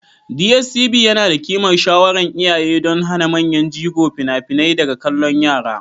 DSTV yana da ƙimar shawaran iyaye don hana manyan jigo fina-finai daga kallon yara.